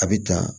A bɛ dan